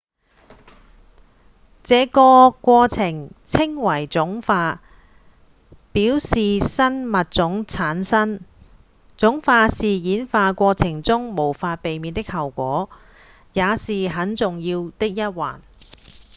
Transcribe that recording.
這個過程稱為種化表示新物種產生種化是演化過程中無法避免的後果也是很重要的一環